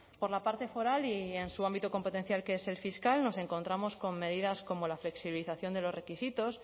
por la parte foral y en su ámbito competencial que es el fiscal nos encontramos con medidas como la flexibilización de los requisitos